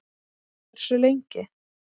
Hversu lengi?